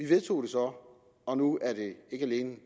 vedtog det så og nu er det ikke alene